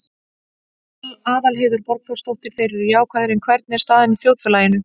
Aðalheiður Borgþórsdóttir: Þeir eru jákvæðir, en hvernig er staðan í þjóðfélaginu?